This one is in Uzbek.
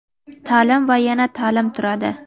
ta’lim va yana ta’lim turadi.